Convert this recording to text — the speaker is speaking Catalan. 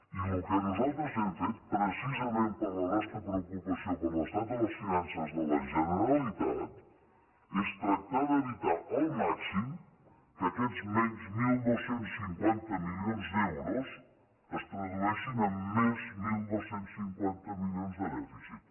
i el que nosaltres hem fet precisament per la nostra preocupació per l’estat de les finances de la generalitat és tractar d’evitar al màxim que aquests menys dotze cinquanta milions d’euros es tradueixin en més dotze cinquanta milions de dèficit